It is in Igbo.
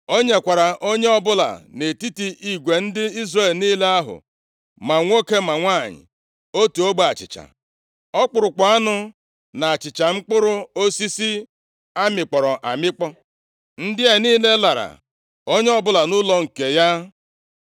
O nyekwara onye ọbụla nʼetiti igwe ndị Izrel niile ahụ, ma nwoke ma nwanyị, otu ogbe achịcha, ọkpụrụkpụ anụ na achịcha mkpụrụ osisi a mịkpọrọ amịkpọ. Ndị a niile lara, onye ọbụla nʼụlọ nke ya.